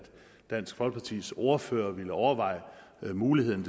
dansk folkepartis ordfører ville overveje muligheden